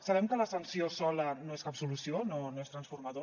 sabem que la sanció sola no és cap solució no és transformador